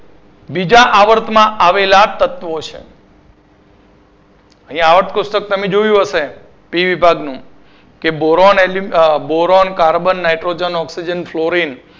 બીજા આવર્તમાં આવેલા તત્વો છે અહિયાં આવર્ત કોષ્ટક તમે જોયું હશે બી વિભાગ નું કે boron alum boron carbon nitrogen oxygen florin